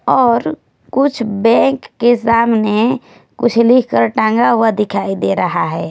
और कुछ बैंक के सामने कुछ लिखकर टंगा हुआ दिखाई दे रहा है।